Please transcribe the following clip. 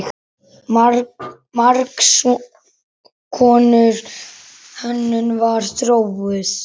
Margs konar hönnun var þróuð.